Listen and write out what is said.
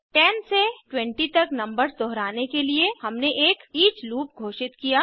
10 से 20 तक नंबर्स दोहराने के लिए हमने एक ईच लूप घोषित किया